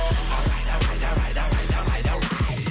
давай давай давай давай давай давай